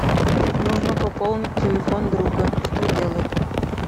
нужно пополнить телефон друга что делать